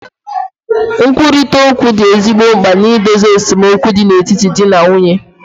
Nkwurịta okwu dị ezigbo mkpa na idozi esemokwu dị n'etiti di na nwunye